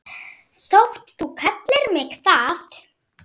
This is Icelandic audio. þótt þú kallir mig það.